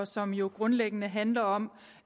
som jo grundlæggende handler om